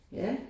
Ja